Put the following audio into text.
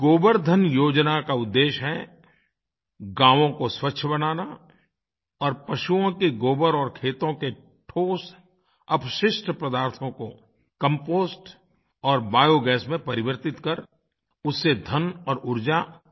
इस गोबर्धन योजना का उद्देश्य है गाँवों को स्वच्छ बनाना और पशुओं के गोबर और खेतों के ठोस अपशिष्ट पदार्थों को कंपोस्ट और बायोगास में परिवर्तित कर उससे धन और ऊर्जा जनरेट करना